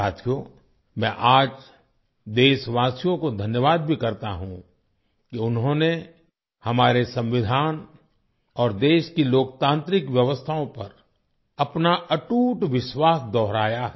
साथियो मैं आज देशवासियों को धन्यवाद भी करता हूँ कि उन्होंने हमारे संविधान और देश की लोकतांत्रिक व्यवस्थाओं पर अपना अटूट विश्वास दोहराया है